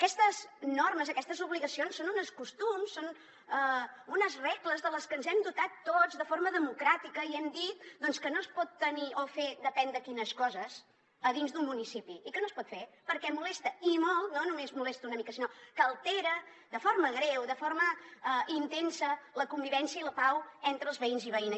aquestes normes aquestes obligacions són uns costums són unes regles de les que ens hem dotat tots de forma democràtica i hem dit doncs que no es pot tenir o fer depèn de quines coses a dins d’un municipi i que no es pot fer perquè molesta i molt no només molesta una mica sinó que altera de forma greu de forma intensa la convivència i la pau entre els veïns i veïnes